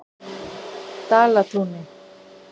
Dalatúni